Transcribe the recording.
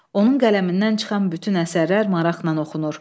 Onun qələmindən çıxan bütün əsərlər maraqla oxunur.